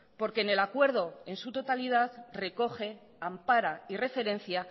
porque en el acuerdo en su totalidad recoge ampara y referencia